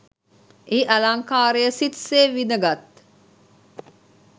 එහි අලංකාරය සිත් සේ විදගත්